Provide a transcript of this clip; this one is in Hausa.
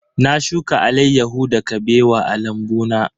Na shuka alaiyahu da Kabewa a lambu na.